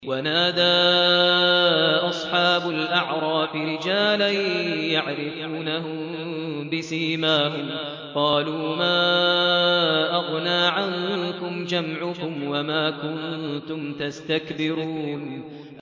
وَنَادَىٰ أَصْحَابُ الْأَعْرَافِ رِجَالًا يَعْرِفُونَهُم بِسِيمَاهُمْ قَالُوا مَا أَغْنَىٰ عَنكُمْ جَمْعُكُمْ وَمَا كُنتُمْ تَسْتَكْبِرُونَ